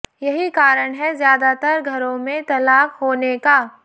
यही कारण है ज्यादातर घरों में तलाक होने का